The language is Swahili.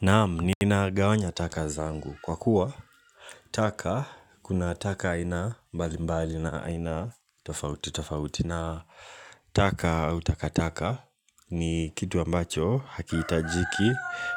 Naamu ninagawanya taka zangu kwa kuwa taka kuna taka aina mbali mbali na aina tofauti tofauti na taka au takataka ni kitu ambacho hakiitajiki